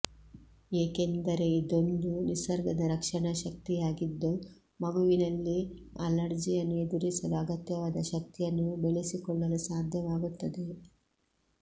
ಏಕೆಂದರೆ ಇದೊಂದು ನಿಸರ್ಗದ ರಕ್ಷಣಾ ಶಕ್ತಿಯಾಗಿದ್ದು ಮಗುವಿನಲ್ಲಿ ಅಲರ್ಜಿಯನ್ನು ಎದುರಿಸಲು ಅಗತ್ಯವಾದ ಶಕ್ತಿಯನ್ನು ಬೆಳೆಸಿಕೊಳ್ಳಲು ಸಾಧ್ಯವಾಗುತ್ತದೆ